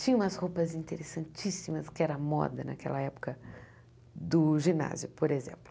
Tinha umas roupas interessantíssimas, que era moda naquela época do ginásio, por exemplo.